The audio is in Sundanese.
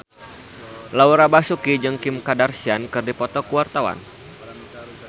Laura Basuki jeung Kim Kardashian keur dipoto ku wartawan